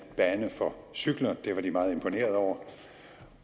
bane for cykler det var de meget imponeret over